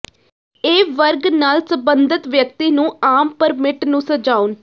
ਇਹ ਵਰਗ ਨਾਲ ਸਬੰਧਤ ਵਿਅਕਤੀ ਨੂੰ ਆਮ ਪਰਮਿਟ ਨੂੰ ਸਜਾਉਣ